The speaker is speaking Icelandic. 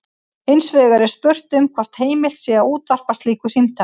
Hins vegar er spurt um hvort heimilt sé að útvarpa slíku símtali.